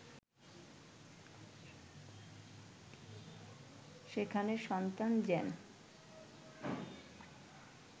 সেখানে সন্তান যেন